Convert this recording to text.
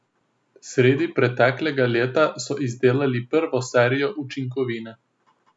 Sredi preteklega leta so izdelali prvo serijo učinkovine.